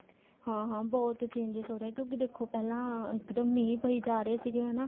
ਹਾਂ ਹਾਂ ਬਹੁਤ changes ਹੋ ਰਹੇ ਏ ਕਿਉਂਕਿ ਦੇਖੋ ਪਹਿਲਾਂ ਇੱਕ ਦਮ ਮੀਂਹ ਪਈ ਜਾ ਰਹੇ ਸੀਗੇ ਹਨਾ